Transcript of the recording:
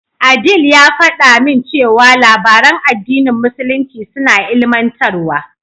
Adeel ya faɗa min cewa labaran addinin musulunci suna ilimantarwa.